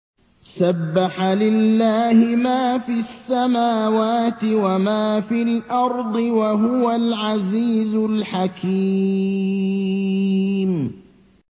سَبَّحَ لِلَّهِ مَا فِي السَّمَاوَاتِ وَمَا فِي الْأَرْضِ ۖ وَهُوَ الْعَزِيزُ الْحَكِيمُ